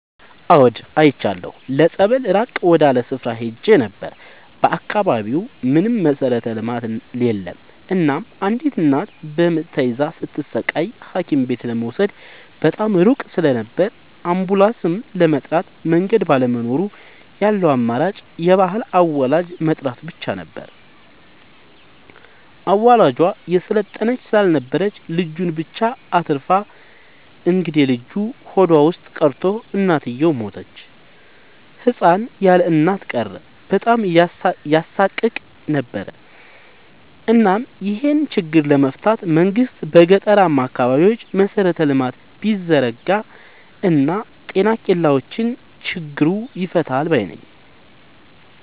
አዎድ አይቻለሁ ለፀበል ራቅ ወዳለ ስፍራ ሄጄ ነበር። በአካባቢው ምንም መሠረተ ልማት የለም እናም አንዲት እናት በምጥ ተይዛ ስትሰቃይ ሀኪምቤት ለመውሰድ በጣም ሩቅ ስለነበር አንቡላስም ለመጥራት መንገድ ባለመኖሩ ያለው አማራጭ የባህል አዋላጅ መጥራት ብቻ ነበር። አዋላጇ የሰለጠነች ስላልነበረች ልጁን ብቻ አትርፋ እንግዴልጁ ሆዷ ውስጥ ቀርቶ እናትየው ሞተች ህፃን ያለእናት ቀረ በጣም ያሳቅቅ ነበር እናም ይሄን ችግር ለመፍታት መንግስት በገጠራማ አካባቢዎች መሰረተ ልማት ቢዘረጋ ጤና ኬላዎችን ቢከፋት ችግሩ ይፈታል ባይነኝ።